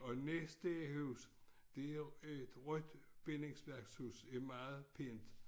Og næste hus det er et rødt bindingsværkshus det meget pænt